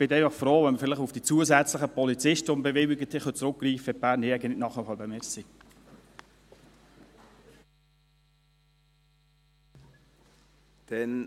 ich bin dann einfach froh, wenn wir vielleicht auf die zusätzlichen Polizisten, die wir bewilligt haben, zurückgreifen können, wenn die Berner Jäger nicht Schritt halten können.